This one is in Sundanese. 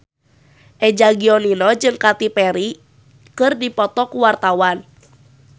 Eza Gionino jeung Katy Perry keur dipoto ku wartawan